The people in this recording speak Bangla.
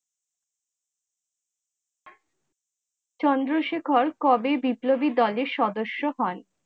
চন্দ্রশেখর কবে বিপ্লবী দলে সদস্য হন?